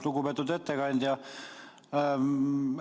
Lugupeetud ettekandja!